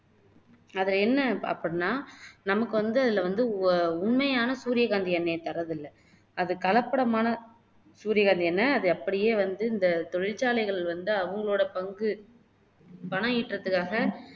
அதுல என்ன அப்படின்னா நமக்கு வந்து அதுல வந்து உண்மையான சூரியகாந்தி எண்ணெயை தர்றதில்லை அது கலப்படமான சூரியகாந்தி எண்ணெய் அது அப்படியே வந்து இந்த தொழிற்சாலைகள் வந்து அவங்களோட பங்கு பணம் ஈட்டுறதுக்காக